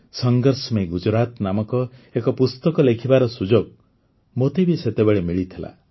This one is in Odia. ସଂଘର୍ଷ ମେଁ ଗୁଜରାତ ନାମକ ଏକ ପୁସ୍ତକ ଲେଖିବାର ସୁଯୋଗ ମୋତେ ବି ସେତେବେଳେ ମିଳିଥିଲା